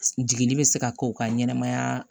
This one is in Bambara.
Jiginni bɛ se ka kɛ u ka ɲɛnɛmaya